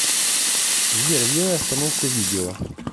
сбер сделай остановку видео